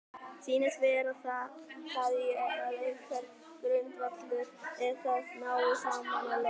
Sýnist vera að það sé einhver grundvöllur að þeir nái saman að lokum?